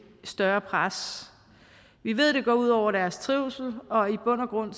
større pres vi ved det går ud over deres trivsel og i bund og grund